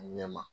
A ɲɛ ma